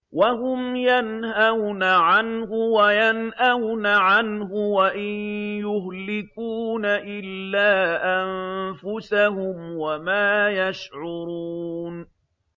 وَهُمْ يَنْهَوْنَ عَنْهُ وَيَنْأَوْنَ عَنْهُ ۖ وَإِن يُهْلِكُونَ إِلَّا أَنفُسَهُمْ وَمَا يَشْعُرُونَ